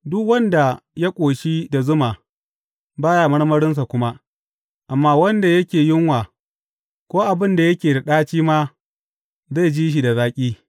Duk wanda ya ƙoshi da zuma, ba ya marmarinsa kuma amma wanda yake yunwa ko abin da yake da ɗaci ma zai ji shi da zaƙi.